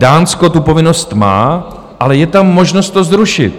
Dánsko tu povinnost má, ale je tam možnost to zrušit.